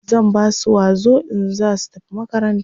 zan Basu wazo in zasu tafi makaranta